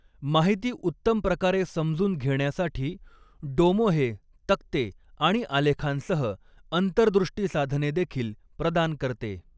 माहिती उत्तम प्रकारे समजून घेण्यासाठी डोमो हे तक्ते आणि आलेखांसह अंतर्दृष्टी साधने देखील प्रदान करते.